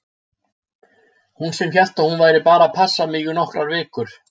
Hún sem hélt að hún væri bara að passa mig í nokkrar vikur!